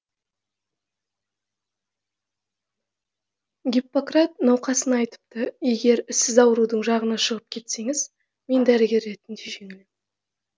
гиппократ науқасына айтыпты егер сіз аурудың жағына шығып кетсеңіз мен дәрігер ретінде жеңілемін